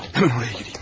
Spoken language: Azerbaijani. Həmən oraya girəyim mən.